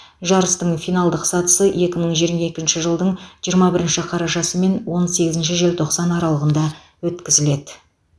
жарыстың финалдық сатысы екі мың жиырма екінші жылдың жиырма бірінші қарашасы мен он сегізінші желтоқсан аралығында өткізіледі